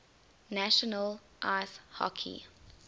national ice hockey